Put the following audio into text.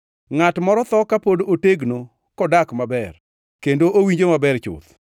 Ngʼat moro tho ka pod otegno kodak maber kendo owinjo maber chuth,